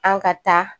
An ka taa